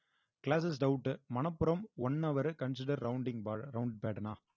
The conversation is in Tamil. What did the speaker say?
classes doubt மனப்புறம் one hour consider rounding round pattern ஆ